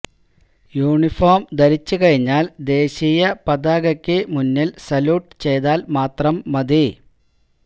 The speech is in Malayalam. യൂണിഫോം ധരിച്ച് കഴിഞ്ഞാല് ദേശീയ പതാകക്ക് മുന്നില് സല്യൂട്ട് ചെയ്താല് മാത്രം മതി